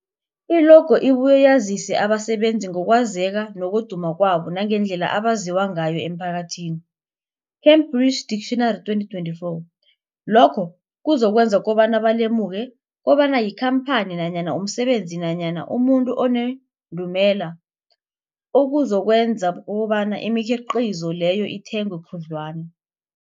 I-logo ibuye yazise abasebenzisi ngokwazeka nokuduma kwabo nangendlela abaziwa ngayo emphakathini, Cambridge Dictionary 2024. Lokho kuzokwenza kobana balemuke kobana yikhamphani nanyana umsebenzi nanyana umuntu onendumela, okuzokwenza kobana imikhiqhizo leyo ithengwe khudlwana.